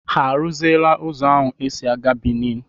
Ha arụziela ụzọ ahụ e si aga Bìní?